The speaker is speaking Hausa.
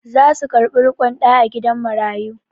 Za su karɓi riƙon ɗa a gidan marayu.